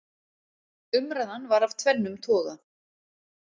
Umræðan var af tvennum toga.